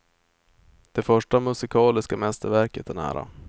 Det första musikaliska mästerverket är nära.